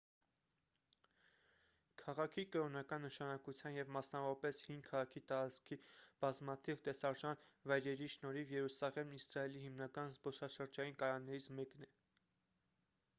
քաղաքի կրոնական նշանակության և մասնավորապես հին քաղաքի տարածքի բազմաթիվ տեսարժան վայրերի շնորհիվ երուսաղեմն իսրայելի հիմնական զբոսաշրջային կայաններից մեկն է